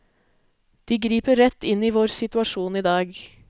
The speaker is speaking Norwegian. De griper rett inn i vår situasjon i dag.